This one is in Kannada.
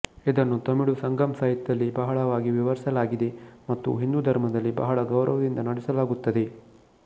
ಇದನ್ನು ತಮಿಳು ಸಂಗಮ್ ಸಾಹಿತ್ಯದಲ್ಲಿ ಬಹಳವಾಗಿ ವಿವರಿಸಲಾಗಿದೆ ಮತ್ತು ಹಿಂದೂ ಧರ್ಮದಲ್ಲಿ ಬಹಳ ಗೌರವದಿಂದ ನಡೆಸಲಾಗುತ್ತದೆ